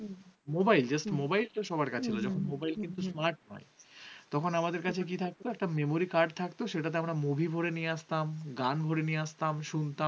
তখন আমাদের কাছে কি থাকতো? একটা memory card থাকত সেটা তো আমরা movie ভরে নিয়ে আসতাম। গান ভরে নিয়ে আসতাম শুনতাম,